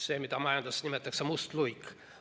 See, mida majanduses nimetatakse mustaks luigeks.